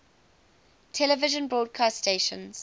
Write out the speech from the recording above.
television broadcast stations